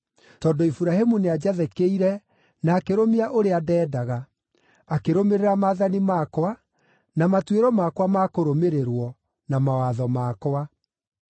tondũ Iburahĩmu nĩanjathĩkĩire na akĩrũmia ũrĩa ndendaga, akĩrũmĩrĩra maathani makwa, na matuĩro makwa ma kũrũmĩrĩrwo, na mawatho makwa.”